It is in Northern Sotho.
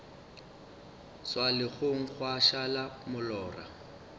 swa legong gwa šala molora